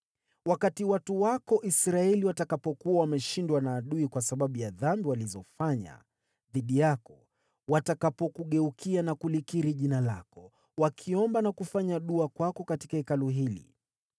“Wakati watu wako Israeli watakapokuwa wameshindwa na adui kwa sababu ya dhambi walizofanya dhidi yako, watakapokugeukia na kulikiri jina lako, wakiomba na kufanya dua kwako katika Hekalu hili,